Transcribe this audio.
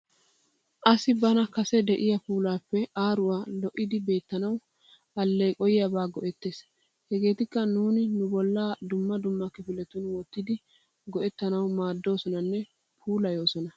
Asi bana kase de'iya puulappe aruwaa lo'iddi beettanawu alleqqoyiyyaba go'ettees. Hegetikka nuuni nu bolla dumma dumma kifilettun wottiddi go"ettanawu maddoosonanne puulayoosona.